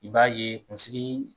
I b'a ye kunsigi